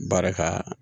Baara ka